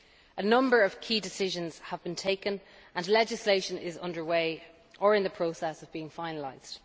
A number of key decisions have been taken and legislation is underway or in the process of being finalised.